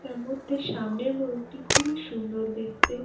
তারমধ্যে সামনের মোরগটি খুবই সুন্দর দেখতে ।